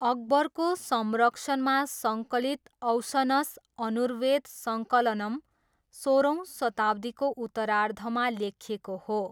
अकबरको संरक्षणमा सङ्कलित औसनस धनुर्वेद सङ्कलनम सोह्रौँ शताब्दीको उत्तरार्धमा लेखिएको हो।